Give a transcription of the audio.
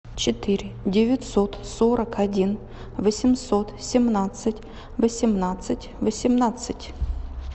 четыре девятьсот сорок один восемьсот семнадцать восемнадцать восемнадцать